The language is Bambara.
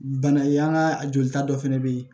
Bana ye an ka a jolita dɔ fana bɛ yen